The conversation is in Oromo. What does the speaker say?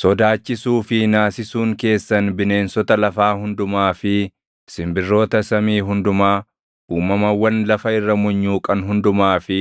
Sodaachisuu fi naasisuun keessan bineensota lafaa hundumaa fi simbirroota samii hundumaa, uumamawwan lafa irra munyuuqan hundumaa fi